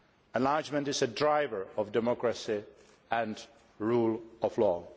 Enlargement is a driver of democracy and the rule of law.